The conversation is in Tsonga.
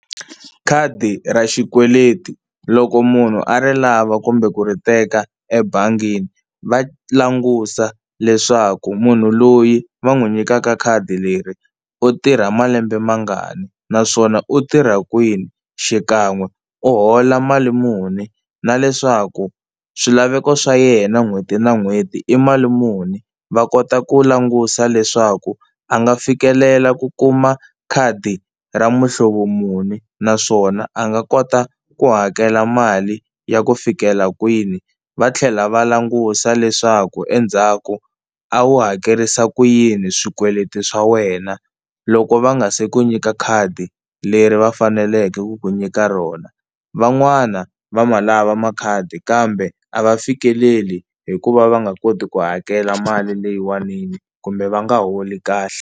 Khadi ra xikweleti loko munhu a ri lava kumbe ku ri teka ebangini va langusa leswaku munhu loyi va n'wi nyikaka khadi leri u tirha malembe mangani naswona u tirha kwini xikan'we u hola mali muni, na leswaku swilaveko swa yena n'hweti na n'hweti i mali muni va kota ku langusa leswaku a nga fikelela ku kuma khadi ra muhlovo muni, naswona a nga kota ku hakela mali ya ku fikela kwini. Va tlhela va langusa leswaku endzhaku a wu hakerisa ku yini swikweleti swa wena loko va nga se ku nyika khadi leri va faneleke ku ku nyika rona. Van'wana va ma lava makhadi kambe a va fikeleli hikuva va nga koti ku hakela mali leyiwanini kumbe va nga holi kahle.